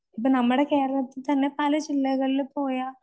ഇപ്പം നമ്മടെ കേരളത്തിൽ തന്നെ പല ജില്ലകളില് പോയാൽ